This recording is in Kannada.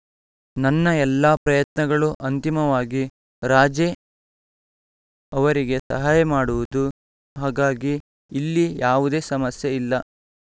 ನನ್ನ ಎಲ್ಲಾ ಪ್ರಯತ್ನಗಳೂ ಅಂತಿಮವಾಗಿ ರಾಜೇ ಅವರಿಗೆ ಸಹಾಯ ಮಾಡುವುದು ಹಾಗಾಗಿ ಇಲ್ಲಿ ಯಾವುದೇ ಸಮಸ್ಯೆ ಇಲ್ಲ